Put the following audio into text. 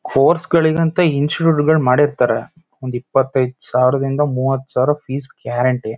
Course ಗಳಿಗಂತ ಮಾಡಿರ್ತ್ತಾರೆ ಒಂದ್ ಇಪ್ಪತ್ತ್ ಐದು ಸಾವಿರದಿಂದ ಮೂವತ್ತು ಸಾವಿರ ಫೀಸ್ ಗ್ಯಾರಂಟಿ .